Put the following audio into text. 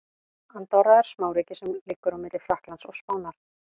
Andorra er smáríki sem liggur á milli Frakklands og Spánar.